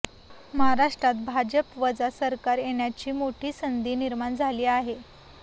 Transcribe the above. महाराष्ट्रात भाजपवजा सरकार येण्याची मोठी संधी निर्माण झाली आहे